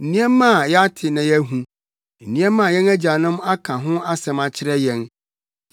nneɛma a yɛate na yɛahu; nneɛma a yɛn agyanom aka ho asɛm akyerɛ yɛn.